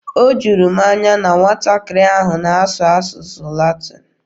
O juru m anya na nwatakịrị ahụ na-asụ asụsụ Latin.